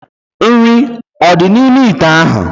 Nri ọ dị n'ime ite ahu?